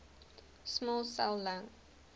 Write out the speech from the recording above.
small cell lung